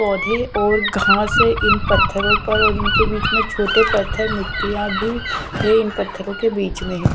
पौधे और घास है इन पत्थरों पर और इनके बीच में छोटे पत्थर मिट्टियां भी है इन पत्थरों के बीच में।